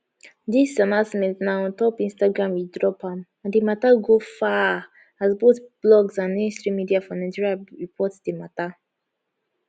dis announcement na ontop instagram e drop am and di mata go far as both blogs and mainstream media for nigeria report di mata